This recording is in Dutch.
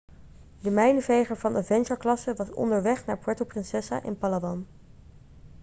de mijnenveger van avengerklasse was onderweg naar puerto princesa in palawan